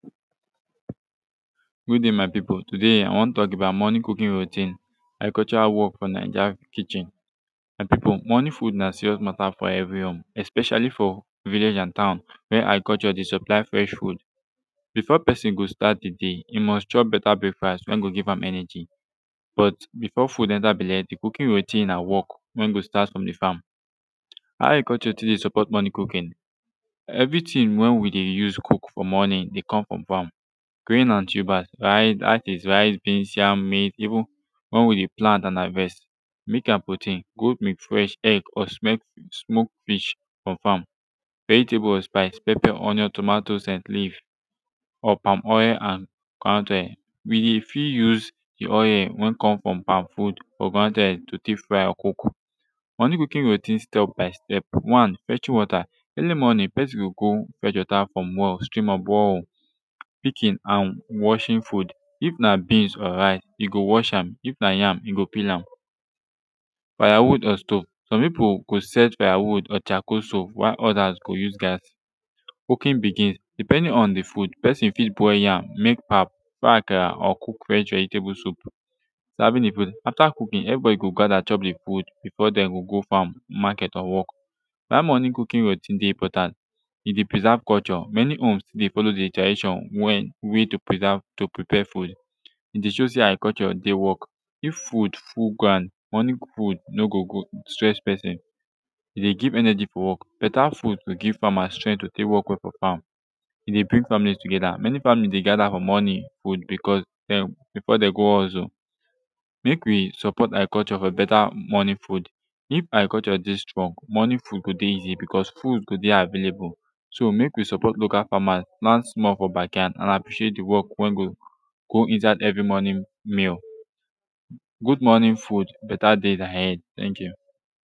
good dai my pipu todai i wan tok about morning cooking routine agricultural wok fo naija kitchen my pipu morning food na cirious mata fo evri home especialli fo village and town wey agriculture dey supply fresh food befor pesin go stat em dai e must chop beta breakfast wen go give am energy but befor food enta belle de cooking routine na work wen go stat frum de fam how agriculture tek de support morning cooking evritin wen wi de use cook fo morning dey cum frum fam grain and tuber rice dat is rice beans yam meat even one wey de plant and harvest meat and protein goat meat fresh egg or smoked fish frum fam vegetable or spice pepper onion tomato scent leave or palm oil and groundnut oil wi dey fit use de oil wen com frum palm fruit or groundnut oil to take fry or cook morning routine cooking step by step one fetching wata earli morning pesin go go fetch wata frum well stream or borehole picking and washing food if na beans or rice yu go wash am if na yam yu go peel am firewood or stove som pipu go set firewood or chacoal stove while odas go use gas cooking begins depending on de food pesin fit boil yam mek pap buy akara or cook fresh vegetable soup serving de food afta cooking everybody go gather chop de food befor dem go go fam maket or work why morning cooking routine de important e dey preserve culture mani homes dey follow de tradition wen wi de preserve to prepare food e de show sey agriculture dey wok if food full ground morning food no go go stress pesin e dey give energy fo wok beta food go give famas strength to tek wok well for fam e dey bring families together mani families dey gather fo morning food becuz dem befor dem go hustle mek wi support agriculture fo beta morning food if agriculture dey strong morning food go de easi becuz food go dey available so mek wi support local famas plant small fo bakyard and appreciate de wok wen go go inside every morning meal good morning food beta dey ahead teink yu